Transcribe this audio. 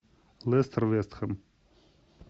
лестер вест хэм